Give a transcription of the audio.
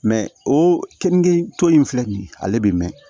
Mɛ o kenige tɔ in filɛ nin ye ale bɛ mɛn